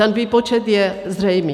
Ten výpočet je zřejmý.